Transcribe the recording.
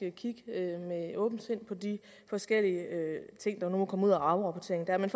kigge med åbent sind på de forskellige ting der nu må komme ud af afrapporteringen